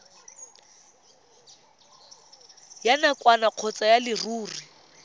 ya nakwana kgotsa ya leruri